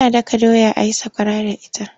Ana daka doya a yi sakwara da ita.